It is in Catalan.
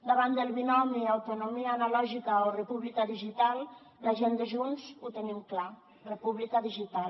davant del binomi autonomia analògica o república digital la gent de junts ho tenim clar república digital